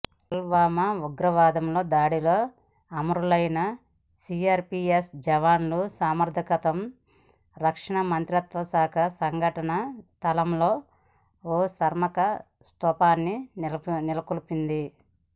పుల్వామా ఉగ్రవాదుల దాడిలో అమరులైన సీఆర్పీఎఫ్ జవాన్ల స్మారకార్థం రక్షణ మంత్రిత్వ శాఖ సంఘటనా స్థలంలో ఓ స్మారకస్థూపాన్ని నెలకొల్పింది